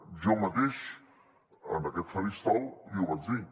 jo mateix en aquest faristol li ho vaig dir